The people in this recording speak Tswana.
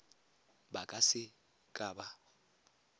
ba ka se ka ba